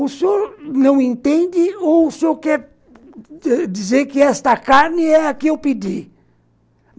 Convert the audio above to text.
O senhor não entende ou o senhor quer dizer que esta carne é a que eu pedi?